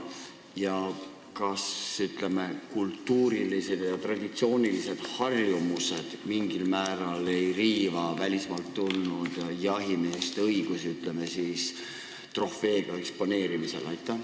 Ja kas meie kultuurilised ja traditsioonilised harjumused ei riiva mingil määral välismaalt tulnud jahimeeste õigusi näiteks trofeega eksponeerimisel?